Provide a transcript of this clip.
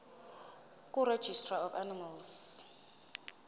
kuregistrar of animals